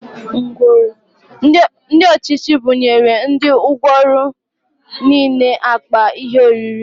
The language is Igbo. Ndị ọchịchị buṅyere ndị ngwọrọ nile akpa ihe oriri